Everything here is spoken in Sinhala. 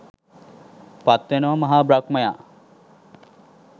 පත් වෙනවා මහා බ්‍රහ්මයා.